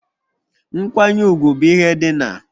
Nkwanye ugwu bụ ihe dị n'